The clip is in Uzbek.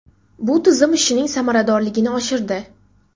Bu tizim ishining samaradorligini oshirdi.